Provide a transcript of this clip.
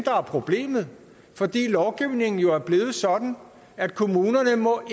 er problemet fordi lovgivningen er blevet sådan at kommunen